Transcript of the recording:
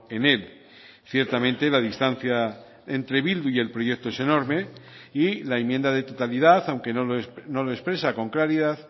en él ciertamente la distancia entre bildu y el proyecto es enorme y la enmienda de totalidad aunque no lo expresa con claridad